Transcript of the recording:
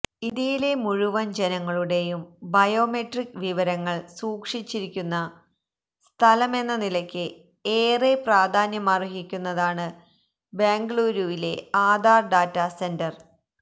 ഇന്ത്യയിലെ മുഴുവന് ജനങ്ങളുടെയും ബയോമെട്രിക് വിവരങ്ങള് സൂക്ഷിച്ചിരിക്കുന്ന സ്ഥലമെന്നനിലയ്ക്ക് ഏറെ പ്രാധാന്യമര്ഹിക്കുന്നതാണ് ബെംഗളൂരുവിലെ ആധാര് ഡാറ്റ സെന്റെര്